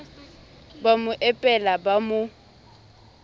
ba mo epela ba mo